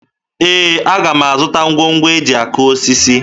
Ee, aga m azụta ngwongwo e ji akụ osisi